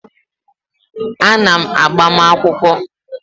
A na m agbamakwụkwọ